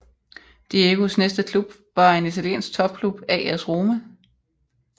Diegos næste klub var en italiensk topklub AS Roma